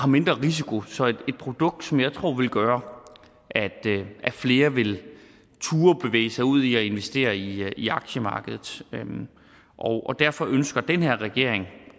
mindre risiko så det er et produkt som jeg tror vil gøre at flere vil turde bevæge sig ud i at investere i aktiemarkedet og derfor ønsker den her regering